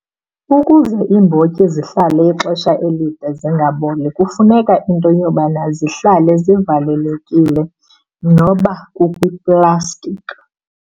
Ukuze iimbotyi zihlale ixesha elide zingaboli kufuneka into yobana zihlale zivalelekile noba kukwiplastiki.